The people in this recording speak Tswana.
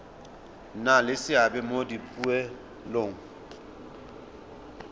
nna le seabe mo dipoelong